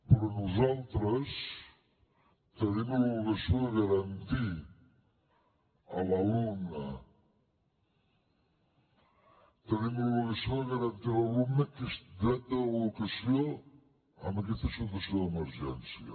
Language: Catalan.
però nosaltres tenim l’obligació de garantir a l’alumne tenim l’obligació de garantir a l’alumne aquest dret a l’educació en aquesta situació d’emergència